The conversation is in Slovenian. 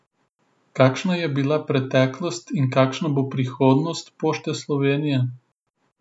Kakšna je bila preteklost in kakšna bo prihodnost Pošte Slovenije?